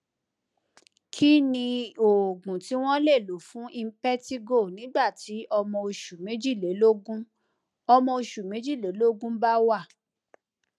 kí ni oògùn tí wón lè lò fún impetigo nígbà tí ọmọ oṣù méjìlélógún ọmọ oṣù méjìlélógún bá wà